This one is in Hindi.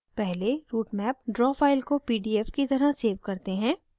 पहले routemap draw file को pdf की तरह सेव करते हैं